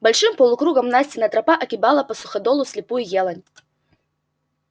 большим полукругом настина тропа огибала по суходолу слепую елань